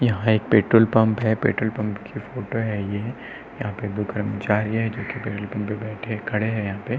यहाँ एक petrol pump है। पेट्रोल पंप की फोटो है ये। यहाँ पे दो कर्मचारी हैं जोकि पेट्रोल पंप पे बैठे खड़े हैं यहाँ पे।